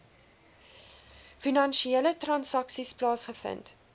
finansiële transaksies plaasgevind